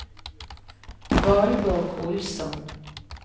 Valborg Olsson